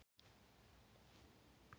Þannig hafi hún þraukað hin mögru ár.